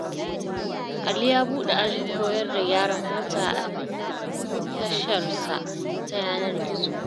Ali ya buɗe ajin koyar da gyaran mota a tasharsa ta yanar-gizo.